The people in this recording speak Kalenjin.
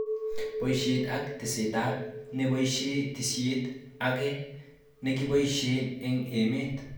Boishet ak testenetab neboishe tesisyit ake nekiboshe eng emet